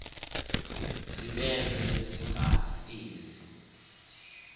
ziblelwe yingazi ezi